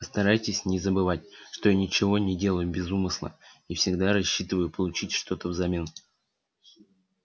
постарайтесь не забывать что я ничего не делаю без умысла и всегда рассчитываю получить что-то взамен